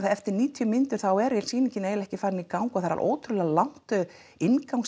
eftir níutíu mínútur er sýningin eiginlega ekki farin í gang og það er ótrúlega langt